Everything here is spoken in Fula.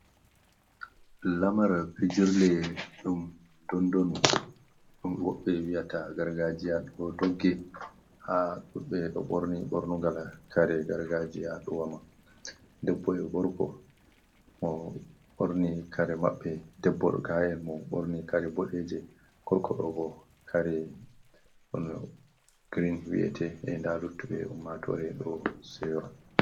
Lamar pijurley ɗum dondonu, woɓɓe wiyata gargajiya ɗo dogge ha ɗuɗ ɓe ɗo ɓorni ɓornugal kare gargajiya ɗo wama, debbo e gorko mo ɓorni kare maɓɓe debbo mo ga’en mo ɓorni kare boɗe, je gorko ɗo bo kare on grin wi’ete e da luttuɓe ummatore ɗo sewa.